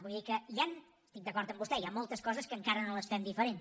vull dir que hi han estic d’acord amb vostè moltes coses que encara no les fem diferent